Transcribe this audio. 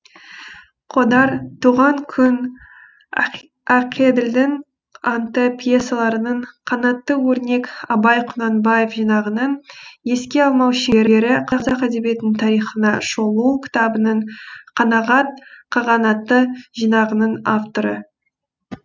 қодар туған күн ақеділдің анты пьесаларының қанатты өрнек абай құнанбаев жинағының еске алмау шеңбері қазақ әдебиетінің тарихына шолу кітабының қанағат қағанаты жинағының авторы